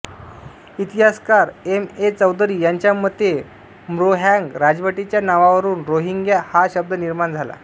इतिहासकार M A Chaudhary यांच्या मते म्रोहाँग राजवटीच्या नावावरून रोहिंग्या हा शब्द निर्माण झाला